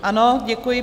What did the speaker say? Ano, děkuji.